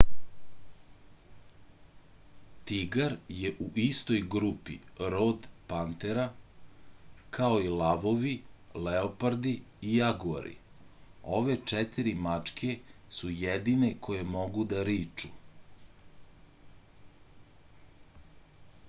тигар је у истој групи род panthera као и лавови леопарди и јагуари. ове четири мачке су једине које могу да ричу